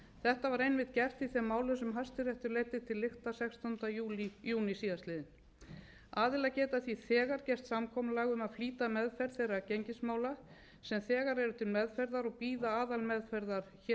þetta var einmitt gert í þeim málum sem hæstiréttur leiddi til lykta sextánda júní síðastliðinn aðilar geta því þegar gert samkomulag um að flýta meðferð þeirra gengismála sem þegar eru til meðferðar og bíða aðalmeðferðar héraðsdóms